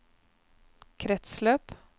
kretsløp